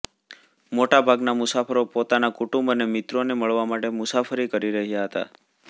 મોટા ભાગના મુસાફરો પોતાના કુટુંબ અને મિત્રોને મળવા માટે મુસાફરી કરી રહ્યાં હતા